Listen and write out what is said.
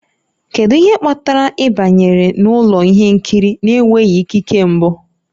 Kedu ihe kpatara ị banyere n'ụlọ ihe nkiri na-enweghị ikike mbụ?